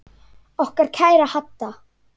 Okkar kæra Hadda.